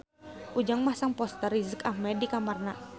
Ujang masang poster Riz Ahmed di kamarna